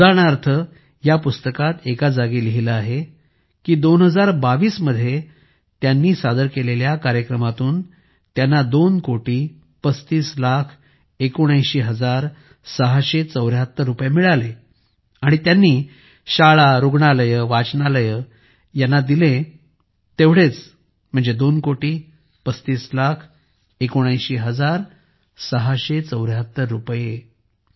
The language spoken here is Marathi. उदाहरणार्थ या पुस्तकात एका जागी लिहिले आहे की2022 मध्ये त्यांनी सादर केलेल्या कार्यक्रमांतून त्यांना दोन कोटी पस्तीस लाख एकोणऐंशी हजार सहाशे चौऱ्याहत्तर रुपये मिळाले आणि त्यांनी शाळा रुग्णालये वाचनालये यांना दिले दोन कोटी पस्तीस लाख एकोणऐंशी हजार सहाशे चौऱ्याहत्तर रुपये